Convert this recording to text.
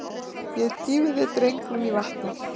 Ég dýfi drengnum í vatnið.